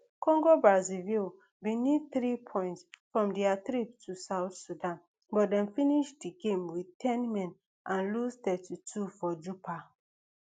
congobrazzaville bin need three points from dia trip to south sudan but dem finish di game wit ten men and lose thirty-two for juba